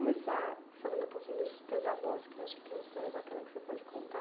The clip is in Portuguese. Então, vamos começar falando um pouquinho dos teus avós, que eu acho que tem uma história bacana que você pode contar.